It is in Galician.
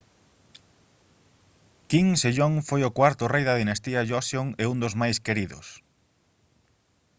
king sejong foi o cuarto rei da dinastía joseon e un dos máis queridos